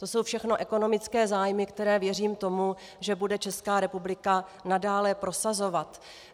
To jsou všechno ekonomické zájmy, které, věřím tomu, že bude Česká republika nadále prosazovat.